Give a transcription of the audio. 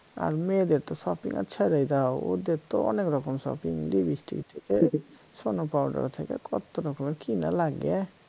আর মেয়েদের তো shopping আহ ছাইড়াই দাও ওদের তো অনেক রকম shoppinglipstick থাকে snow powder থাকে কত রকমের কি না লাগে